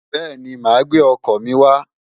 Bẹ́ẹ̀ni, màá gbé ọkọ̀ mi wá.